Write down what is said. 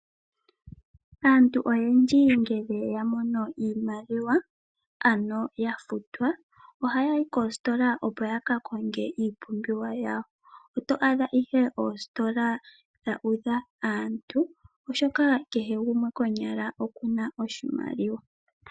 Aantu oyendji ngele ya mono iimaliwa, ano ya futwa ohaya yi koositola opo ya ka konge iipumbiwa yawo. Oto adha ihe oositola dha udha aantu oshoka kehe gumwe konyala oku na oshimaliwa.